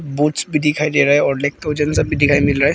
Boost भी दिखाई दे रहा है और लैक्टोजेन सब भी दिखाई मिल रहा है।